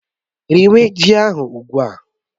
Riwé ji ahụ ugbu a!